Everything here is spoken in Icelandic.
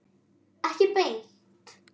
Ekki beint.